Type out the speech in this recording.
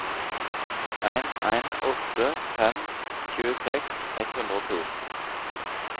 en en åtte fem tjueseks ett hundre og to